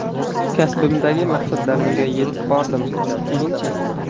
Kasbimdagi maqsadlarimga yetib bordim, keyin-chi?